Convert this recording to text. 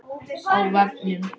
Á vefnum